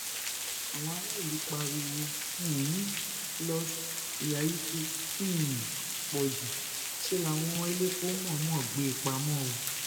àwọn aráàlú pariwo um los ìyá yìí ti um pọ jù ṣe láwọn elépo mọọnmọ ń gbé e pamọ o